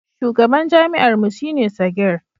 shugaban jami'ar mu shi ne Sagir